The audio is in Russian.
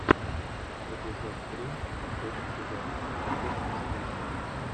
эпизод три последний сезон непридуманная жизнь